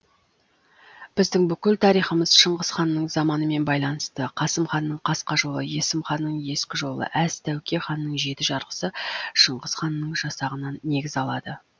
біздің бүкіл тарихымыз шыңғыс ханның заманымен байланысты қасымханның қасқа жолы есімханның ескі жолы әз тәуке ханның жеті жарғысы шыңғыс ханның жасағынан негіз алады